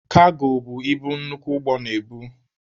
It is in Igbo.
Kago bụ ibu nnukwu ụgbọ na-ebu.